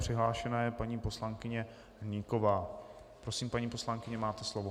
Přihlášena je paní poslankyně Hnyková Prosím, paní poslankyně, máte slovo.